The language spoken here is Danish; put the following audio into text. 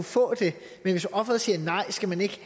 få det men hvis offeret siger nej skal man ikke